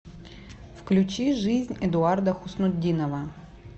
включи жизнь эдуарда хуснутдинова